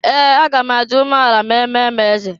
Ee! Aga m adị ume ala ma eme m eze.